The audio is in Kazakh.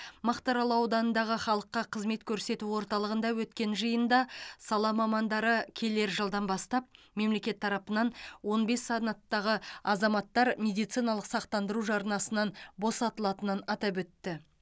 мақтарал ауданындағы халыққа қызмет көрсету орталығында өткен жиында сала мамандары келер жылдан бастап мемлекет тарапынан он бес санаттағы азаматтар медициналық сақтандыру жарнасынан босатылатынын атап өтті